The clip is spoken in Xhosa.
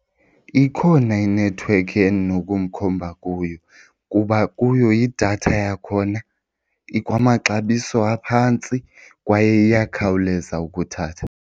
Ikhona inethiwekhi endinokumkhomba kuyo kuba kuyo idatha yakhona ikwamaxabiso aphantsi kwaye iyakhawuleza ukuthatha.